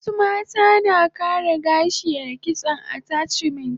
Wasu mata na kara gashi a kitson attachment